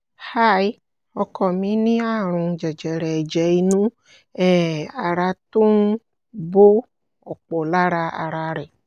hi ọkọ mi ní àrùn jẹjẹrẹ ẹ̀jẹ̀ inú um ara tó ń bo ọ̀pọ̀ lára ara rẹ̀